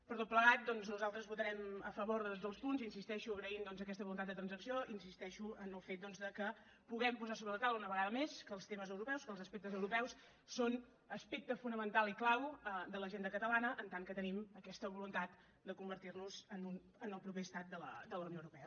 per tot plegat doncs nosaltres votarem a favor dels punts hi insisteixo agraint doncs aquesta voluntat de transacció en el fet que puguem posar sobre la taula una vegada més que els temes europeus que els aspectes europeus són aspecte fonamental i clau de l’agenda catalana en tant que tenim aquesta voluntat de convertir nos en el proper estat de la unió europea